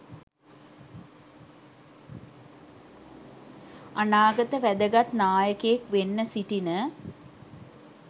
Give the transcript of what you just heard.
අනාගත වැදගත් නායකයෙක් වෙන්න සිටින